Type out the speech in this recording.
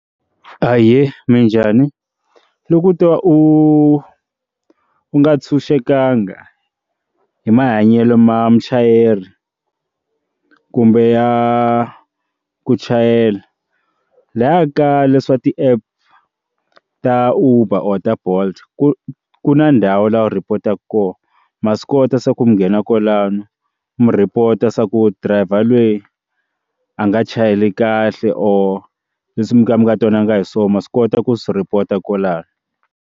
Ahee, minjhani? Loko u tiva u u nga ntshunxekanga hi mahanyelo ma muchayeri kumbe ya ku chayela laya ka leswa ti app ta uber or ta bolt ku ku na ndhawu laha u rhipotaka kona ma swi kota swa ku mi nghena kwalano mu report swa ku driver loyi a nga chayeli kahle or leswi mi nga mi nga twanananga hi swona ma swi kota ku swi report a kwalano.